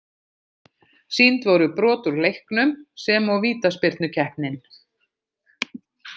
Sýnd voru brot úr leiknum sem og vítaspyrnukeppnin.